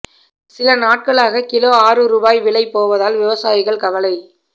சில நாட்களாக கிலோ ஆறு ரூபாய் விலை போவதால் விவசாயிகள் கவலை